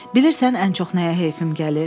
Bilirsən ən çox nəyə heyfim gəlir?